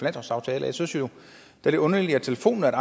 altså jeg synes jo at det er underligt at telefonen